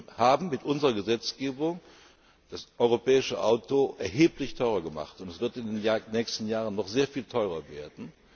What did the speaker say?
fest. Wir haben mit unserer Gesetzgebung das europäische Auto erheblich teurer gemacht, und es wird in den nächsten Jahren noch sehr viel teurer werden.